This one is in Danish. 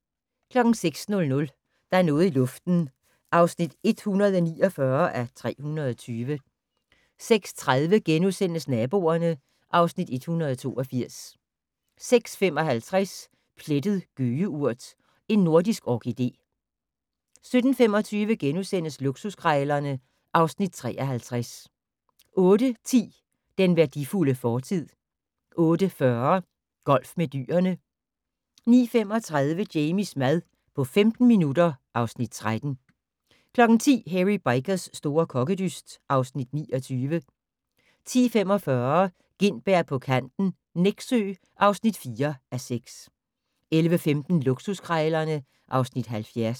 06:00: Der er noget i luften (149:320) 06:30: Naboerne (Afs. 182)* 06:55: Plettet gøgeurt - en nordisk orkidé 07:25: Luksuskrejlerne (Afs. 53)* 08:10: Den værdifulde fortid 08:40: Golf med dyrene 09:35: Jamies mad på 15 minutter (Afs. 13) 10:00: Hairy Bikers' store kokkedyst (Afs. 29) 10:45: Gintberg på kanten - Nexø (4:6) 11:15: Luksuskrejlerne (Afs. 70)